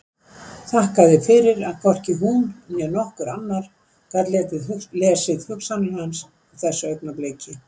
Þakkaði fyrir að hvorki hún né nokkur annar gat lesið hugsanir hans á þessu augnabliki.